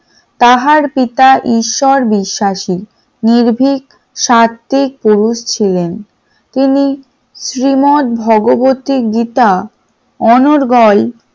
তাহার পিতা ঈশ্বর বিশ্বাসী নির্ভীক সাহিত্যিক পুরুষ ছিলেন তিনি শ্রীমৎ ভগবত গীতা অনর্গল